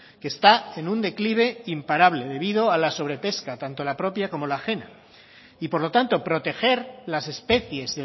que está en un declive imparable debido a la sobrepesca tanto la propia como la ajena y por lo tanto proteger las especies